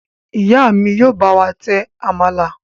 Ìyá mi yóò bá wà tẹ àmàlà.